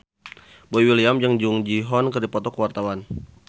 Boy William jeung Jung Ji Hoon keur dipoto ku wartawan